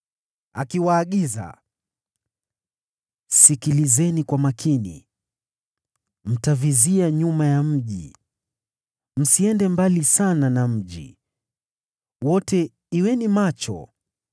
akiwaagiza: “Sikilizeni kwa makini. Mtavizia nyuma ya mji. Msiende mbali sana na mji. Wote kuweni macho.